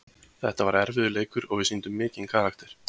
Þetta var erfiður leikur og við sýndum mikinn karakter.